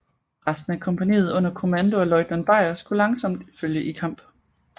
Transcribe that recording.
Resten af kompagniet under kommando af løjtnant Beyer skulle langsomt følge i kamp